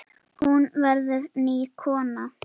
Hún verður ný kona.